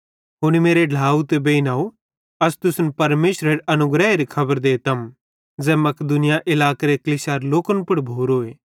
हुनी मेरे ढ्लाव बेइनव अस तुसन परमेशरेरे अनुग्रहेरी खबर देतम ज़ैन मकिदुनिया इलाकेरे कलीसियारे लोकन पुड़ भोरोए